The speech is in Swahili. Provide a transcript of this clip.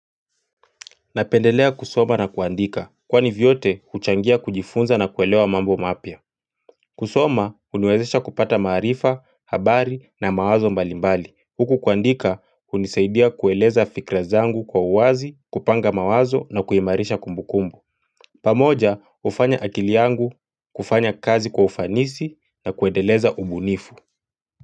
Napendelea kusoma na kuandika kwani vyote kuchangia kujifunza na kuelewa mambo mapya kusoma huniwezesha kupata maarifa habari na mawazo mbalimbali Huku kuandika hunisaidia kueleza fikra zangu kwa uwazi kupanga mawazo na kuimarisha kumbukumbu pamoja hufanya akili yangu kufanya kazi kwa ufanisi na kuendeleza ubunifu.